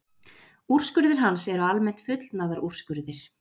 Úrskurðir hans eru almennt fullnaðarúrskurðir.